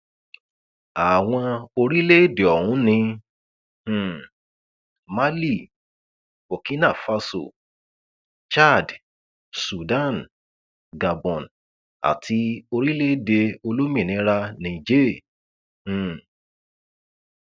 àwọn orílẹèdè ọhún ní um málì burkina faso chad sudan gabon àti orílẹèdè olómìnira niger um